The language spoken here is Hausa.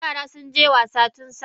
Yaran sunje wasa tunsafe.